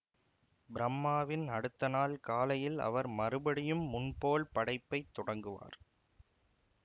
பிரம்மாவின் அடுத்த நாள் காலையில் அவர் மறுபடியும் முன்போல் படைப்பைத் தொடங்குவார்